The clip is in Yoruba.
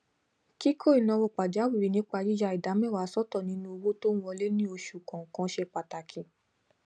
kikọ ináwó pàjáwirì nípa yiyà ìdá mẹwàá sọtọ nínú owó tó n wọle ní oṣu kọọkan ṣe pataki